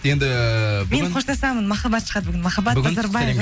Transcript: енді мен қоштасамын махаббат шығады бүгін махаббат назарбай